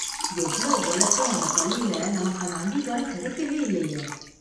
எவ்ளோ உழைச்சும் அந்த பள்ளில நமக்கான அங்கீகாரம் கிடைக்கவே இல்லையே.